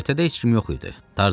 Göyərtədə heç kim yox idi.